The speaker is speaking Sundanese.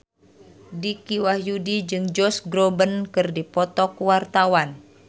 Dicky Wahyudi jeung Josh Groban keur dipoto ku wartawan